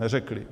Neřekli.